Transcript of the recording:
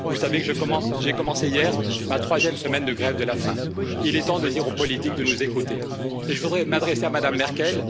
vous savez que j'ai commencé hier ma troisième semaine de grève de la faim. Il est temps de dire aux politiques de nous écouter, et je voudrais m'adresser à Mme Merkel.